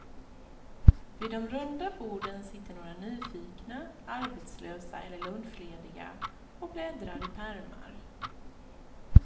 Vid de runda borden sitter några nyfikna, arbetslösa eller lunchlediga, och bläddrar i pärmar.